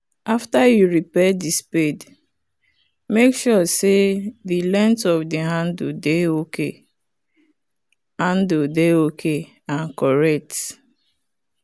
after you repair the spade make sure say the length of the handle dey ok handle dey ok and correct.